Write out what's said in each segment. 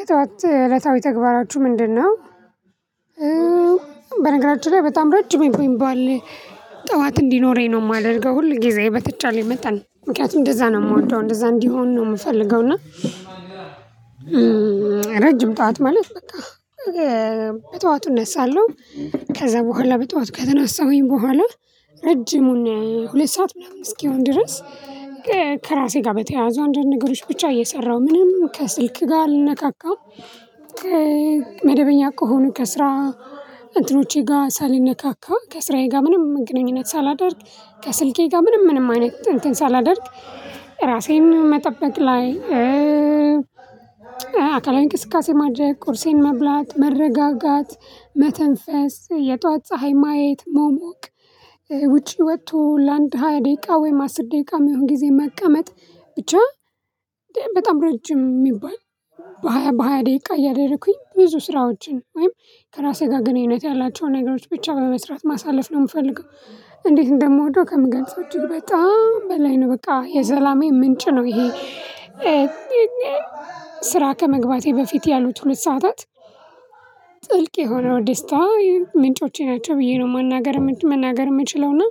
የጠዋት እለታዊ ተግባራችሁ ምንድነው? በነገራችን ላይ በጣም ረጅም የሚባል ጠዋት እንዲኖረኝ ነው የማደርገው ሁል ጊዜ በተቻለኝ መጣን ምክንያቱም እንደዛ ነው የምወደው እንደዛ እንዲሆን ነው የምፈልገው። እና ረጅም ጠዋት ማለት በቃ በጠዋቱ እነሳለሁ ከዛ በኋላ በጧት ከተነሳሁኝ በኋላ ረጅሙን ሁለት ሰዓት ምናምን እስኪሆን ድረስ ከራሴ ጋር በተያያዘ አንዳንድ ገሮች ብቻ እየሰራሁ ምንም ከስልክ ጋር አልነካካም። መደበኛ ከሆኑ ከስራ እንትኖቼ ጋር ሳልነካካ ከስራዬ ጋር ምንም ግንኙነት ሳላደርግ ከስልኬ ጋር ምንም ምንም አይነት እንትን ሳላደርግ ራሴን መጠበቅ ላይ። አካላዊ እንቅስቃሴ ማድረግ ቁርሴን መብላት መረጋጋት መተንፈስ የጧት ፀሀይ ማየት መሞቅ ውጪ ወጥቶ ለአንድ ሃያ ደቂቃ ወይም አስር ደቂቃ የሚሆን ጊዜ መቀመጥ ብቻ በጣም ረጅም ሚባል በሃያ በሃያ ደቂቃ እያደረኩኝ ብዙ ስራዎችን ወይም ከራሴ ጋር ግንኙነት ያላቸውን ነገሮች ብቻ በመስራት ማሳለፍ ነው ምፈልገው። እንዴት እንደምወደው ከምገልፀው እጅግ በጣም በላይ ነው በቃ የሰላሜ ምንጭ ነው ይሄ። ስራ ከመግባቴ በፊት ያሉት ሁለት ሰዓታት ጥልቅ የሆነው ደስታ ምንጮቼ ናቸው ብዬ ነው መናገር መናገር የምችለውና።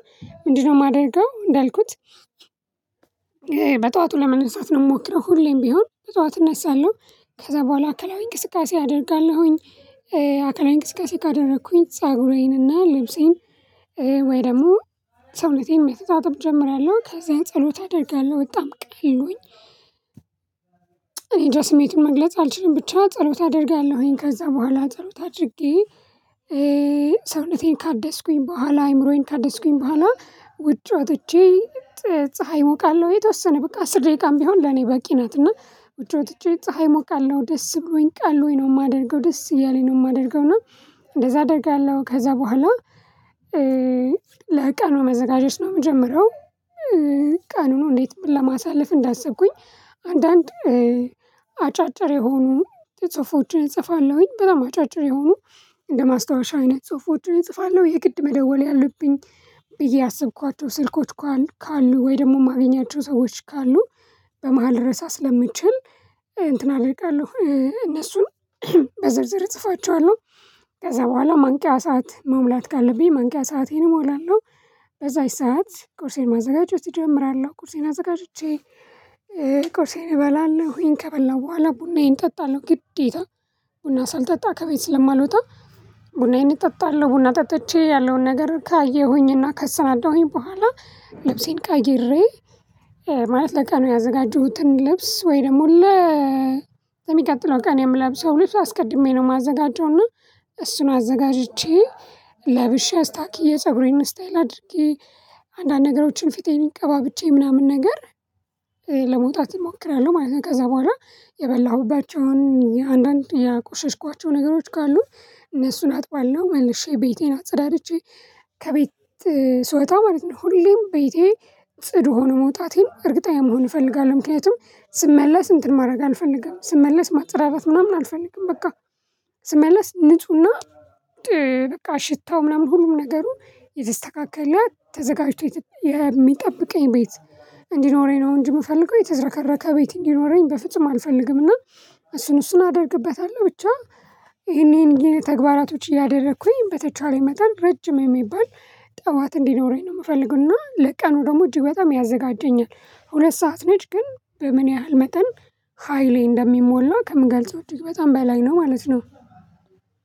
ምንድነው ማደርገው እንዳልኩት? በጠዋቱ ለመነሳት ነው ምሞክረው ሁሌም ቢሆን በጠዋት እነሳለሁ። ከዛ በኋላ አካላዊ እንቅስቃሴ አደርጋለሁኝ። አካላዊ እንቅስቃሴ ካደረኩኝ ፀጉሬንና ልብሴን ወይ ደግሞ ሰውነቴን መተጣጠብ እጀምራለሁ ከዛን ጸሎት አደርጋለሁ በጣም ቀሎኝ። እኔንጃ ስሜቱን መግለጽ አልችልም። ብቻ ጸሎት አደርጋለሁኝ ከዛ በኋላ ጸሎት አድርጌ ሰውነቴን ካደስኩኝ በኋላ አይምሮዬን ካደስኩኝ በኋላ። ውጭ ወጥቼ ፀሀይ ሞቃለሁ የተወሰነ በቃ አስር ደቂቃም ቢሆን ለኔ በቂ ናትና። ዉጭ ወጥቼ ፀሀይ ሞቃለሁ ደስ ብሎኝ ቀሎኝ ነው ማደርገው ደስ እያለኝ ነው ማደርገው እና። እንደዛ አደርጋለሁ ከዛ በኋላ ለቀኑ መዘጋጀት ነው ምጀምረው። ቃኑን እንዴት ለማሳለፍ እንዳሰብኩኝ። አንዳንድ አጫጭር የሆኑ ጽሁፎችን እጽፋለሁኝ በጣም አጫጭር የሆኑ እንደ ማስታወሻ አይነት ጽሁፎችን እጽፋለሁ የግድ መደወል ያለብኝ ብዬ አስብኳቸው ስልኮች ካሉ ወይ ደግሞ ማገኛቸው ሰዎች ካሉ በመሃል ልረሳ ስለምችል እንትን አደርጋለሁ እነሱን በዝርዝር እጽፋቸዋለሁ። ከዛ በኋላ ማንቂያ ሰዓት መሙላት ካለብኝ ማንቂያ ሰአቴንም እሞላለሁ። በዛች ሰዓት ቁርሴን ማዘጋጀት እጀምራለሁ ቁርሴን አዘጋጅቼ። ቁርሴን እበላለሁኝ ከበላሁ በኋላ ቡናዬን ጠጣለሁ ግዴታ ቡና ሳልጠጣ ከቤት ስለማልወጣ። ቡናዬን እጠጣለሁ ቡና ጠጥቼ ያለውን ነገር ካየሁኝና ካሰናዳሁኝ በኋላ። ልብሴን ቀይሬ ማለት ለቀኑ ያዘጋጀሁትን ልብስ ወይ ደግሞ ለ ሚቀጥለው ቀን የምለብሰው ልብስ አስቀድሜ ነው ማዘጋጀው። እና እሱን አዘጋጅቼ ለብሼ አስታኪዬ ፀጉሬን ስታይል አድርጌ አንዳንድ ነገሮችን ፊቴን ቀባብቼ ምናምን ነገር። ለመውጣት እሞክራለሁ ማለት ነው። ከዛ በኋላ የበላሁባቸውን የአንዳንድ የቆሸሽኳቸው ነገሮች ካሉ እነሱን አጥባለሁ መልሼ ቤቴን አጸዳድቼ። ከቤት ስወጣ ማለት ነው ሁሌም ቤቴ ጽዱ ሆኖ መውጣቴን እርግጠኛ መሆን እፈልጋለሁ። ምክንያቱም ስመለስ እንትን ማድረግ አልፈልግም ስመለስ ማፀዳዳት ምናምን አልፈልግም በቃ። ስመለስ ንፁህና በቃ ሽታው ምናምን ሁሉም ነገሩ የተስተካከለ ተዘጋጅቶ የሚጠብቀኝ ቤት እንዲኖረኝ ነው። እንጂ ምፈልገው የተዘረከረከ ቤት እንዲኖረኝ በፍጹም አልፈልግም። እና እሱን እሱን አደርግበታለሁ ብቻ። ይሄን ይሄን የተግባራቶች እያደረኩኝ በተቻለ ይመጣል ረጅም የሚባል ጠዋት እንዲኖረኝ ነው ምፈልግና ለቀኑ ደግሞ እጅግ በጣም ያዘጋጀኛል። ሁለት ሰዓት ነች ግን በምን ያህል መጠን ሃይሌ እንደሚሞላ ከምገልጸው እጅግ በጣም በላይ ነው። ማለት ነው።